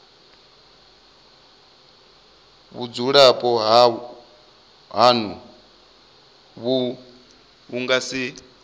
vhudzulapo hanu vhu nga si